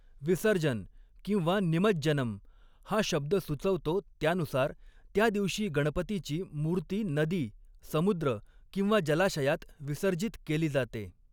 'विसर्जन' किंवा 'निमज्जनम्' हा शब्द सुचवतो त्यानुसार, त्या दिवशी गणपतीची मूर्ती नदी, समुद्र किंवा जलाशयात विसर्जित केली जाते.